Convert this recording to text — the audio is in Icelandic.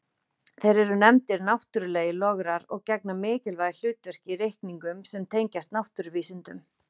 Þeir eru nefndir náttúrlegir lograr og gegna mikilvægu hlutverki í reikningum sem tengjast náttúruvísindum.